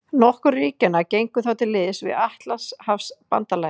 Nokkur ríkjanna gengu þá til liðs við Atlantshafsbandalagið.